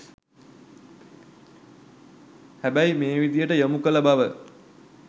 හැබැයි මේ විදියට යොමු කළ බව